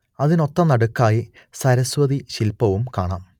അതിനൊത്തനടുക്കായി സരസ്വതി ശില്പവും കാണാം